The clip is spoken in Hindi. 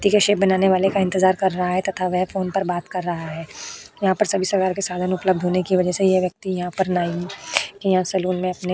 व्यक्ति के सेव बनाने वाले का इंतजार कर रहा है तथा वो फोन पर बात कर रहा है। यहाँ पर सभी प्रकार के साधन उपलब्ध होने के वजह से यह व्यक्ति यहाँ पर नाई। यहाँ सलून मे अपने --